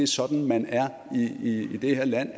sådan man er i det her land